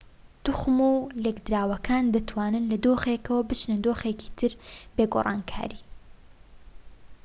توخم و لێکدراوەکان دەتوانن لە دۆخێکەوە بچنە دۆخێکی تر بێ گۆڕانکاری